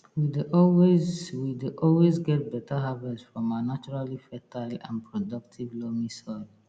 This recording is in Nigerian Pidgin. we dey always we dey always get beta harvest from our naturally fertile and productive loamy soil